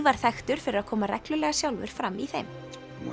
var þekktur fyrir að koma reglulega sjálfur fram í þeim